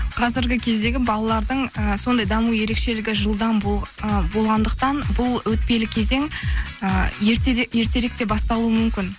қазіргі кездегі балалардың і сондай даму ерекшілігі жылдам ы болғандықтан бұл өтпелі кезең ы ертерек те басталуы мүмкін